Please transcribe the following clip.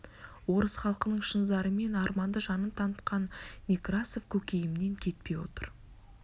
орыс халқының шын зары мен арманды жанын танытқан некрасов көкейімнен кетпей отыр